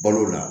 Balo la